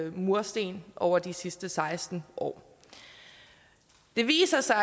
i mursten over de sidste seksten år det viser sig